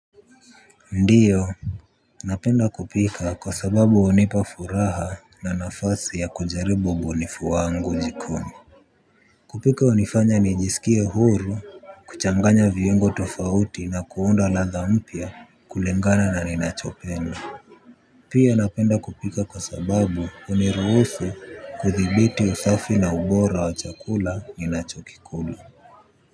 Ndiyo. Napenda kupika kwa sababu hunipafuraha na nafasi ya kujaribu ubunifu wangu jikoni. Kupika hunifanya nijisikie huru kuchanganya viungo tofauti na kuunda ladha mpya kulingana na ninachopenda. Pia napenda kupika kwa sababu huniruhusu kuthibiti usafi na ubora wa chakula ninachokikula.